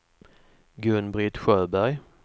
Gun-Britt Sjöberg